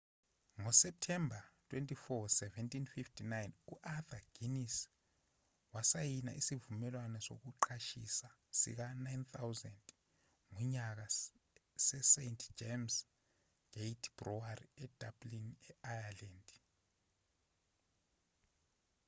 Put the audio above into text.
ngoseptemba 24 1759 u-arthur guinness wasayina isivumelwano sokuqashisa sika-9,000 ngonyaka sest james' gate brewery edublin e-ireland